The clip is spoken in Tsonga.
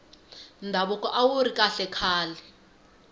ndhavuko awuri kahle khale